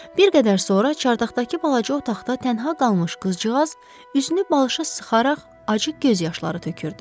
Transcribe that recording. Bir qədər sonra çardaqdakı balaca otaqda tənha qalmış qızcığaz üzünü balışa sıxaraq acı göz yaşları tökürdü.